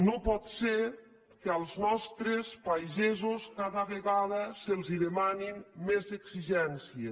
no pot ser que als nostres pagesos cada vegada se’ls demani més exigències